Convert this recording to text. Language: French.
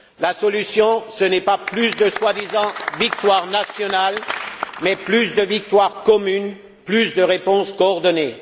La solution, ce n'est pas plus de soi disant victoires nationales, mais plus de victoires communes, plus de réponses coordonnées.